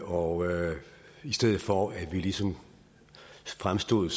og i stedet for at vi ligesom fremstod